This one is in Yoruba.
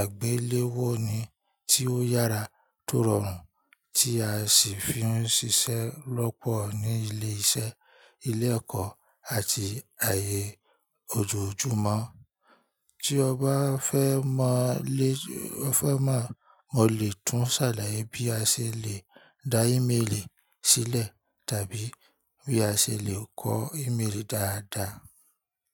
àgbéléwọ́ ni tí ó yára tọ̀rọ rùn tí a sì fi ń ṣiṣẹ́ lọ́pọ̀ ní ilé iṣẹ́, ilé ẹ̀kọ́ àti ayé ojoojúmọ́. Tí ọ bá fẹ́ mọ̀ lè, fẹ́ mọ̀, mo lè tún ṣàlàyé bí a ṣe lè da ímélì sílẹ̀ tàbí bí a ṣe lè kọ ímélì dáadáa.